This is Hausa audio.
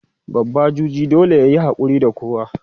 babba juji dole yayi hakuri da kowa